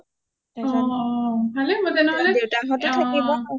অ অ ভালেই হব তেনেহলে